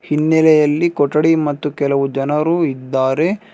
ಹಿನ್ನೆಲೆಯಲ್ಲಿ ಕೊಠಡಿ ಮತ್ತು ಕೆಲವು ಜನರು ಇದ್ದಾರೆ.